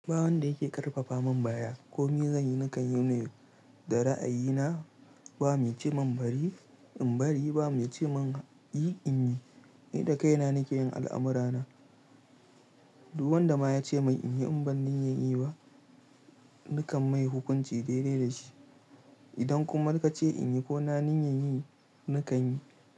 Ba wanda yake ƙarfafa min baya ko me zanyi nakan yine da ra'ayina. Ba mai ce min bari in bari, ba mai ce mun yi in yi. Ni da kaina nake yin al'amura na. Duk wanda ma ya ce mai in yi in ban niyyan yi ba, nakan mai hukunci daidai da shi. Idan kuma ka ce in yi ko na niyyan yi, nakan yi.